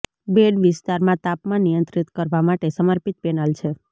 bed વિસ્તારમાં તાપમાન નિયંત્રિત કરવા માટે સમર્પિત પેનલ છે